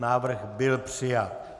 Návrh byl přijat.